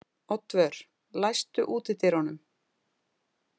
Oddvör, læstu útidyrunum.